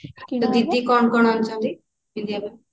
ତୋ ଦିଦି କଣ କଣ ଆଣିଛନ୍ତି ପିନ୍ଧିବା ପାଇଁ